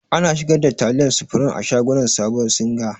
Ana sigar da taliyar supreme a shagon sabuwar singa.